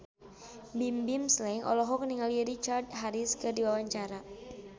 Bimbim Slank olohok ningali Richard Harris keur diwawancara